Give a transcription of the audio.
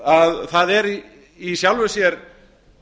að það er í sjálfu sér